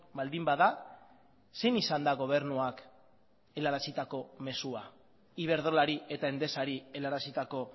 baldin bada zein izan da gobernuak helarazitako mezua iberdrolari eta endesari helarazitako